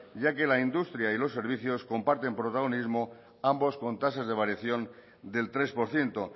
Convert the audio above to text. ya que la industria y los servicios comparten protagonismo ambos con tasas de variación del tres por ciento